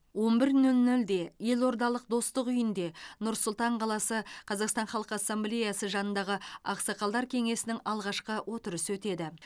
он бір нөл нөлде елордалық достық үйінде нұр сұлтан қаласы қазақстан халқы ассамблеясы жанындағы ақсақалдар кеңесінің алғашқы отырысы өтеді